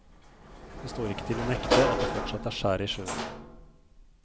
Det står ikke til å nekte at det fortsatt er skjær i sjøen.